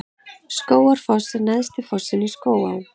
Skógafoss er neðsti fossinn í Skógaá.